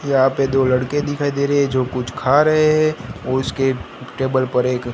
यहां पे दो लड़के दिखाई दे रहे है जो कुछ खा रहे हैं उसके टेबल पर एक--